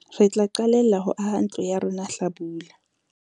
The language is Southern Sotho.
re tla qalella ho aha ntlo ya rona hlabula